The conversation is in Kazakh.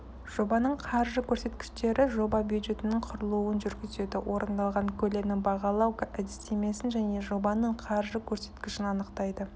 жобаның қаржы көрсеткіштері жоба бюджетінің құрылуын жүргізеді орындалған көлемнің бағалау әдістемесін және жобаның қаржы көрсеткішін анықтайды